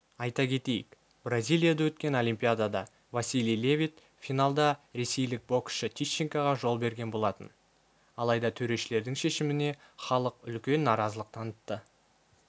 айта кетейік бразилияда өткен олимпиадада василий левит финалда ресейлік боксшы тищенкоға жол берген болатын алайда төрешілердің шешіміне іалық үлкен наразылық танытты